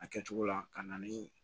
A kɛcogo la ka na ni